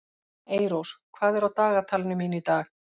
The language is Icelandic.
Eyrós, hvað er á dagatalinu mínu í dag?